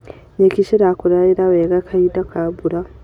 Nyeki cirakũrire wega kahinda ka mbura.